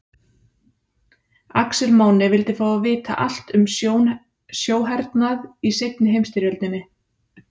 Axel Máni vildi fá að vita allt um sjóhernað í seinni heimsstyrjöldinni.